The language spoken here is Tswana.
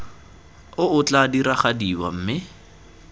o o tla diragadiwa mme